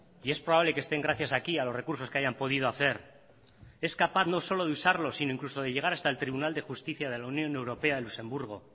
y es probable que están gracias aquí a los recursos que hayan podido hacer es capaz no solo de usarlo sino incluso de llegar hasta el tribunal de justicia de la unión europea en luxemburgo